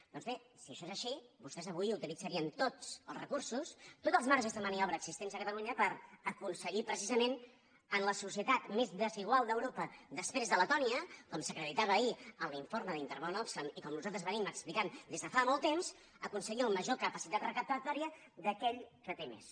doncs bé si això és així vostès avui utilitzarien tots els recursos tots els marges de maniobra existents a catalunya per aconseguir precisament en la societat més desigual d’europa després de letònia com s’acreditava ahir en l’informe d’intermón oxfam i com nosaltres hem explicat des de fa molt temps major capacitat recaptatòria d’aquell que té més